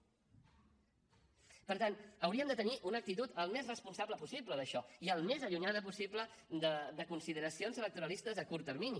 per tant hauríem de tenir una actitud el més responsable possible en això i el més allunyada possible de consideracions electoralistes a curt termini